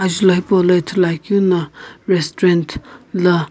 Ajulho hipaulo ithuluakeu na restaurant la.